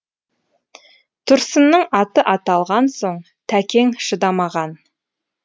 тұрсынның аты аталған соң тәкең шыдамаған